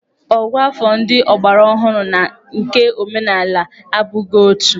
Ògụ́àfọ̀ ndị ọgbaraọhụrụ na nke omenala abụghị otu.